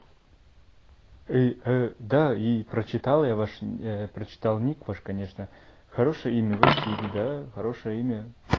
и да и прочитал я ваш прочитал ник ваш конечно хорошее имя василий да хорошее имя